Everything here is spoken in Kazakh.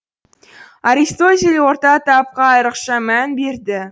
аристотель орта тапқа айырықша мән берді